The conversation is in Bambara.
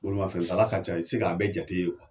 Bolimafɛn tala ka ca. I tɛ se k'a bɛɛ jate ye